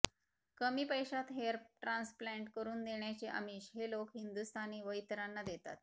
कमी पैशात hair transplant करून देण्याचे आमिष हे लोक हिंदुस्थानी व इतरांना देतात